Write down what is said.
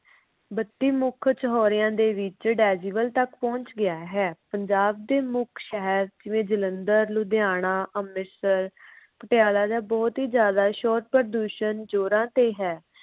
ਬੱਤੀ ਮੁੱਖ ਚੌਹਾਰਿਆ ਦੇ ਵਿਚ decibel ਤੱਕ ਪਹੁੰਚ ਗਿਆ ਹੈ। ਪੰਜਾਬ ਦੇ ਮੁੱਖ ਸ਼ਹਿਰ ਜਿਵੇਂ ਜਲੰਧਰ, ਲੁਧਿਆਣਾ, ਅੰਮ੍ਰਿਤਸਰ, ਪਟਿਆਲਾ ਜਾ ਬਹੁਤ ਹੀ ਜਿਆਦਾ ਸ਼ੋਰ ਪ੍ਰਦੂਸ਼ਣ ਜੋਰਾ ਤੇ ਹੈ।